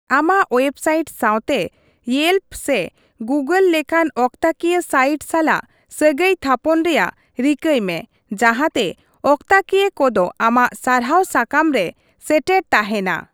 ᱟᱢᱟᱜ ᱳᱭᱮᱵᱽᱥᱟᱭᱤᱴ ᱥᱟᱶᱛᱮ ᱤᱭᱮᱞᱯᱚ ᱥᱮ ᱜᱩᱜᱚᱞ ᱞᱮᱠᱟᱱ ᱚᱠᱛᱟᱠᱤᱭᱟᱹ ᱥᱟᱭᱤᱴ ᱥᱟᱞᱟᱜ ᱥᱟᱹᱜᱟᱹᱭ ᱛᱷᱟᱯᱚᱱ ᱨᱮᱭᱟᱜ ᱨᱤᱠᱟᱹᱭ ᱢᱮ ᱡᱟᱸᱦᱟᱛᱮ ᱚᱠᱛᱟᱠᱤᱭᱟᱹ ᱠᱚᱫᱚ ᱟᱢᱟᱜ ᱥᱟᱨᱦᱟᱣ ᱥᱟᱠᱟᱢ ᱨᱮ ᱥᱮᱴᱮᱨ ᱛᱟᱦᱮᱱᱼᱟ ᱾